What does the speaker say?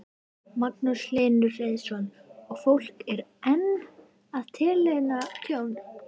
Magnús Hlynur Hreiðarsson: Og fólk er enn að tilkynna tjón?